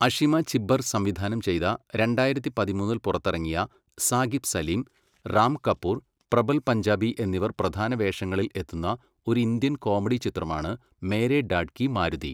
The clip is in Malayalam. അഷിമ ചിബ്ബർ സംവിധാനം ചെയ്ത രണ്ടായിരത്തി പതിമൂന്നിൽ പുറത്തിറങ്ങിയ സാഖിബ് സലിം, റാം കപൂർ, പ്രബൽ പഞ്ചാബി എന്നിവർ പ്രധാന വേഷങ്ങളിൽ എത്തുന്ന ഒരു ഇന്ത്യൻ കോമഡി ചിത്രമാണ് മേരേ ഡാഡ് കി മാരുതി.